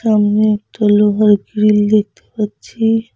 এখানে একটি লোহার গ্রিল দেখতে পাচ্ছি।